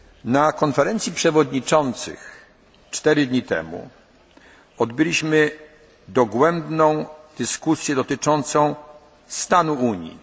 Na Konferencji Przewodniczących cztery dni temu odbyliśmy dogłębną dyskusję dotyczącą